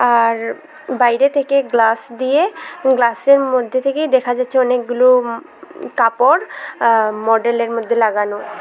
আর বাইরে থেকে গ্লাস দিয়ে গ্লাসের মধ্যে থেকেই দেখা যাচ্ছে অনেকগুলো কাপড় আ মডেলের মধ্যে লাগানো।